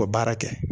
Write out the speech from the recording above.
O baara kɛ